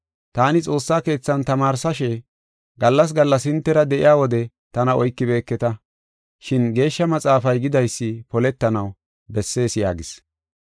Taani xoossa keethan tamaarsashe, gallas gallas hintera de7iya wode tana oykibeeketa, shin Geeshsha Maxaafay gidaysi poletanaw bessees” yaagis.